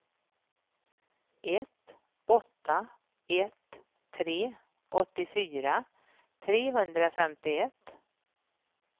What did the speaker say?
ett åtta ett tre åttiofyra trehundrafemtioett